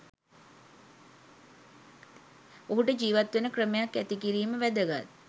ඔහුට ජිවත් වෙන ක්‍රමයක් ඇති කිරීම වැදගත්